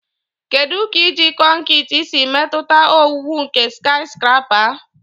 Kedu ka iji kọnkịtị siri metụta owuwu nke skiscrapa?